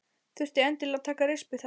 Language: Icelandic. Þurfti endilega að taka rispu þá.